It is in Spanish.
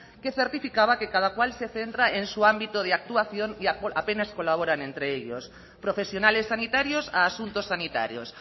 que certificaba que cada cual se centra en su ámbito de actuación y apenas colaboran entre ellos profesionales sanitarios a asuntos sanitarios